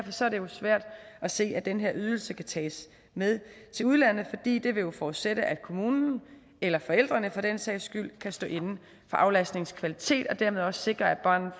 svært at se at den her ydelse kan tages med til udlandet fordi det jo vil forudsætte at kommunen eller forældrene for den sags skyld kan stå inde for aflastningens kvalitet og dermed også sikre at barnet